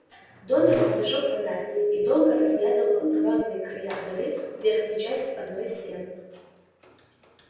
донован зажёг фонарь и долго разглядывал рваные края дыры в верхней части одной из стен